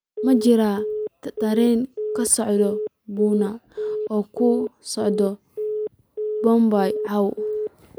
ma jiraa tareen ka socda pune oo ku socda mumbai caawa